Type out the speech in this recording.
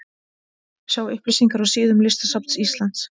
Sjá upplýsingar á síðum listasafns Íslands.